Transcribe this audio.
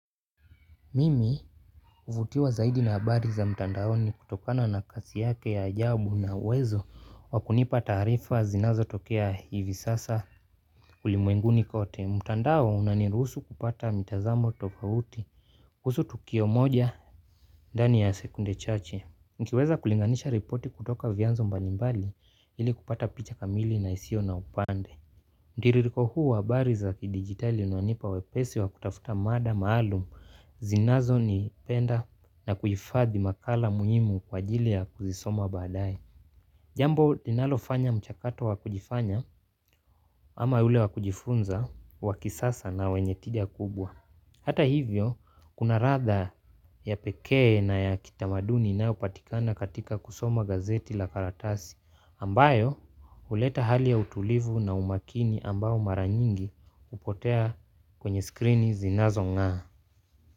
Mimi huvutiwa zaidi na habari za mtandaoni kutokana na kazi yake ya ajabu na uwezo wa kunipa taarifa zinazo tokea hivi sasa ulimwenguni kote mtandao unanirusu kupata mitazamo tofauti kuhusu tukio moja dani ya sekunde chache nkiweza kulinganisha ripoti kutoka vianzo mbali mbali ili kupata picha kamili na isio na upande. Ndiririko huu wa habari za kidigitali unanipa wepesi wa kutafuta mada maalum zinazo ni penda na kuhifadhi makala muhimu kwa jili ya kuzisoma badae. Jambo linalofanya mchakato wakujifanya ama ule wakujifunza wakisasa na wenye tidia kubwa. Hata hivyo kuna ratha ya pekee na ya kitamaduni inayopatikana katika kusoma gazeti la karatasi ambayo huleta hali ya utulivu na umakini ambao mara nyingi hupotea kwenye skrini zinazo ng'aa.